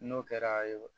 N'o kɛra